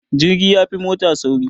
Jirgi yafi mota sauri